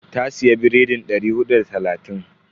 Ta siya biredin dari hudu da talatin.